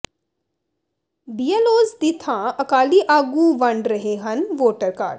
BLOs ਦੀ ਥਾਂ ਅਕਾਲੀ ਆਗੂ ਵੰਡ ਰਹੇ ਹਨ ਵੋਟਰ ਕਾਰਡ